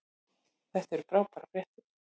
Þetta eru frábærar fréttir